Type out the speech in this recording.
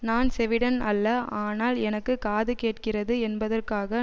நான் செவிடன் அல்ல ஆனால் எனக்கு காது கேட்கிறது என்பதற்காக